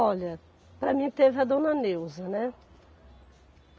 Olha, para mim teve a Dona Neuza, né.